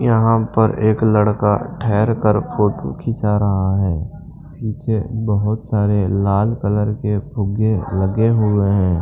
यहां पर एक लड़का ठहरकर फोटो खींचा रहा है पीछे बहुत सारे लाल कलर के फुग्गे लगे हुए हैं।